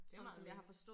Det meget lækkert